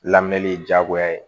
Lamɛnni ye diyagoya ye